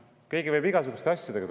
Võidakse tulla igasuguste asjadega.